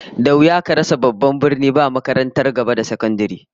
Da wuya ka rasa babban birni da makarantar gaba da firamare